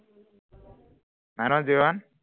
nine one zero one